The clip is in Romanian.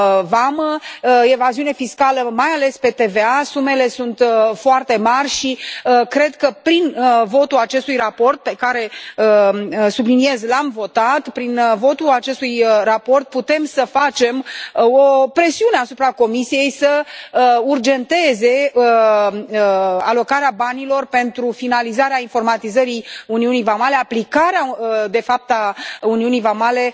vamă, evaziune fiscală mai ales pe TVA, sumele sunt foarte mari și cred că prin votul acestui raport pe care, subliniez, l am votat, prin votul acestui raport putem să facem o presiune asupra Comisiei să urgenteze alocarea banilor pentru finalizarea informatizării Uniunii vamale, aplicarea, de fapt, a Uniunii vamale